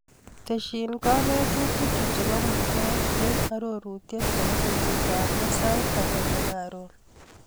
Tesyi kanetutikchu chebo mutet eng arorutiet nebo betutab loo sait agenge karon.